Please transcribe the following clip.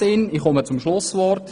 Ich komme zum Schluss.